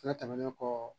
Fɛnɛ tɛmɛnen kɔ